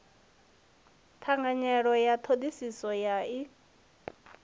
ṱhanganelano ya ṱhoḓisiso ya ik